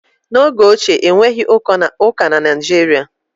n'oge ochie, e nweghị ụka na Nigeria